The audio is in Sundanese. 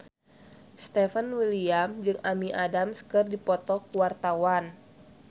Stefan William jeung Amy Adams keur dipoto ku wartawan